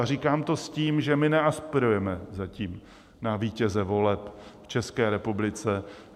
A říkám to s tím, že my neaspirujeme zatím na vítěze voleb v České republice.